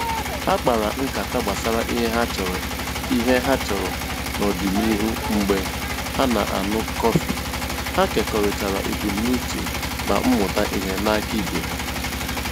Ha kpara nkata gbasara ihe ha chọrọ ihe ha chọrọ n'ọdịnihu mgbe ha na-aṅụ kọfị, ha kekọrịtara ebumnuche ma mmụta ihe n'aka ibe ha